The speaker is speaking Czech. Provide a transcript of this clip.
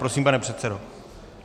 Prosím, pane předsedo.